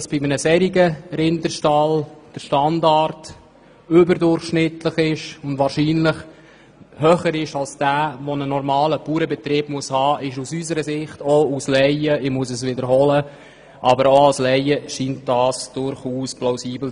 Dass ein solcher Rinderstall einen überdurchschnittlichen Standard aufweist, der wohl denjenigen übersteigt, den ein normaler Bauernbetrieb aufweisen muss, ist aus unserer Sicht als Laien durchaus plausibel.